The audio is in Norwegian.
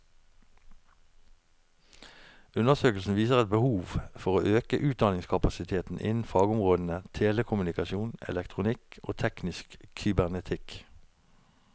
Undersøkelsen viser et behov for å øke utdanningskapasiteten innen fagområdene telekommunikasjon, elektronikk og teknisk kybernetikk.